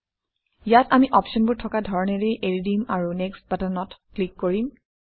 ইয়াত আমি অপশ্যনবোৰ থকা ধৰণৰেই এৰি দিম আৰু নেক্সট্ বাটনত ক্লিক কৰিম